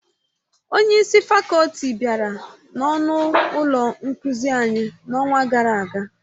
Onye isi fakọlti bịara n'ọnụ ụlọ nkuzi anyị n'ọnwa gara aga